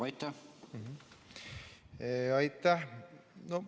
Aitäh!